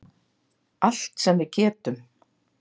Allt sem við getum.